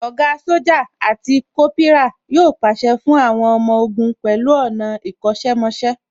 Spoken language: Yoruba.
Ògá Sójà àti Kópírà yóò pàṣẹ fún àwọn ọmọ ogun pẹ̀lú ọ̀nà ìkọ́ṣẹ́ mọṣẹ́